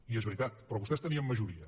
i és veritat però vostès tenien majoria